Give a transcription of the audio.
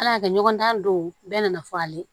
Ala y'a kɛ ɲɔgɔn dan don bɛɛ nana fɔ ale ye